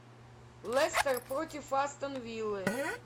лестер против астон виллы